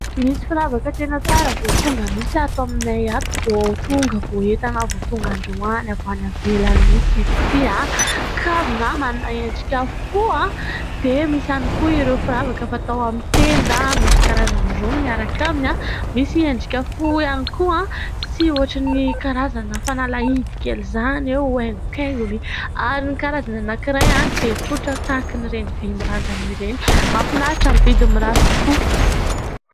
Misy firavaka tena tsara vo tonga mintsy ato aminay ato, vo tonga vo entana vo tonga androany avy any ivelany mihintsy izy 'ty. Kavina, manana endrika fo. Dia misy hiany koa ireo firavaka fatao amin'ny tenda; misy karazany roa miaraka aminy : misy endrika fo hiany koa sy ohatrin"ny karazana fanalahidy kely zany eo, aingokaingony; ary ny karazany anakiray, dia tsotra tahaka ireny vy mirandrana ireny. Mahafinaritra! Amin'ny vidiny mirary tokoa.